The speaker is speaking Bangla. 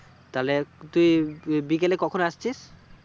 তাহলে তু বিকেলে কখন আসছিস